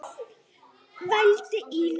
vældi Ína.